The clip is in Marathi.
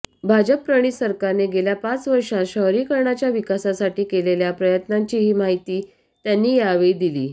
भाजपप्रणीत सरकारने गेल्या पाच वर्षांत शहरीकरणाच्या विकासासाठी केलेल्या प्रयत्नांचीही माहिती त्यांनी यावेळी दिली